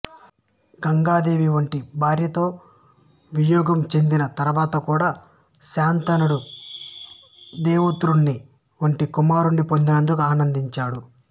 గంగాదేవి వంటి భార్యతో వియోగం చెందిన తరువాత కూడా శంతనుడు దేవవ్రతుడి వంటి కుమారుడిని పొందినందుకు ఆనందించాడు